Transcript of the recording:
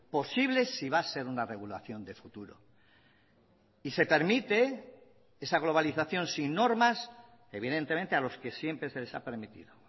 posible si va a ser una regulación de futuro y se permite esa globalización sin normas evidentemente a los que siempre se les ha permitido